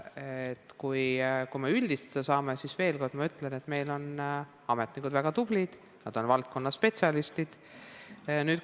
Aga kui püüame üldistada, siis ma veel kord ütlen, et meie ametnikud on väga tublid, nad on oma valdkonna spetsialistid.